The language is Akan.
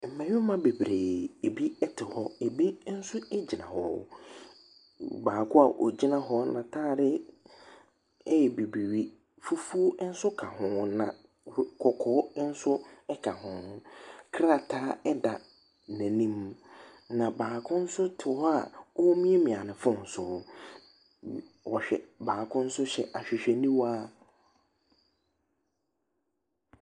Mmarima bebiree, ebi ɛte hɔ, ebi nso egyina hɔ. Baako a ogyina hɔ n'ataade ɛyɛ bibire, fufuw nso ɛka ho. Na kɔkɔɔ nso ɛka ho. Krataa ɛda n'anim. Na baako nso te hɔ a omiamia ne fon so. Baako nso hyɛ ahwehwɛniwa.